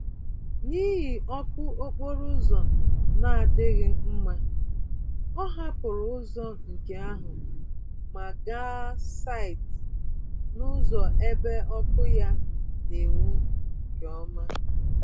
N'ihi ọkụ okporo ụzọ na-adịghị mma, ọ hapụrụ ụzọ nke ahụ ma gaa site nụzọ ebe ọkụ ya n'enwu nke ọma.